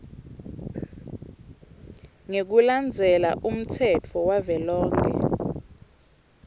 ngekulandzela umtsetfo wavelonkhe